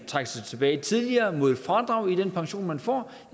trække sig tilbage tidligere mod et fradrag i den pension man får